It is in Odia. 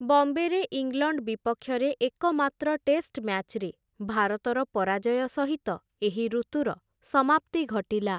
ବମ୍ବେରେ ଇଂଲଣ୍ଡ ବିପକ୍ଷରେ ଏକମାତ୍ର ଟେଷ୍ଟ ମ୍ୟାଚ୍‌ରେ ଭାରତର ପରାଜୟ ସହିତ ଏହି ଋତୁର ସମାପ୍ତି ଘଟିଲା ।